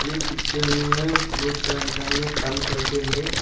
ये पिक्चर में बहोत सारे इंसान लोग काम करके है।